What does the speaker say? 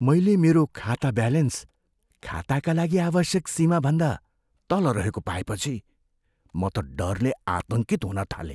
मैले मेरो खाता ब्यालेन्स खाताका लागि आवश्यक सीमाभन्दा तल रहेको पाएँपछि म त डरले आतङ्कित हुन थालेँ।